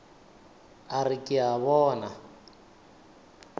a re ke a bona